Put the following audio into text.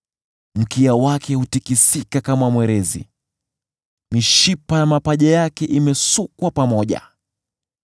Mkia wake hutikisika kama mwerezi; mishipa ya mapaja yake imesukwa pamoja.